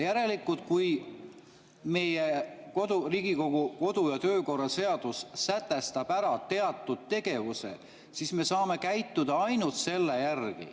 Järelikult, kui Riigikogu kodu‑ ja töökorra seadus sätestab ära teatud tegevuse, siis me saame käituda ainult selle järgi.